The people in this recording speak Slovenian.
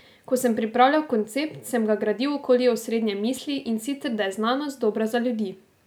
Ko sem pripravljal koncept, sem ga gradil okoli osrednje misli, in sicer da je znanost dobra za ljudi.